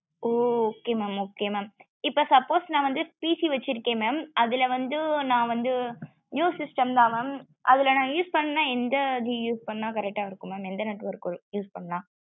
ஓ okay mam okay mam இப்போ suppose னா வந்து PC வச்சுருக்கே mam அதுல வந்து னாவந்து new system தா mam அதுல நா use பண்ண என்தது use பண்ண correct ஆ இருக்கும் mam எந்த network use பண்ண